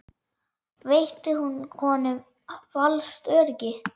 Veitti hún honum falskt öryggi?